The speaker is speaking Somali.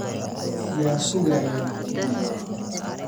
yuu sugayaa?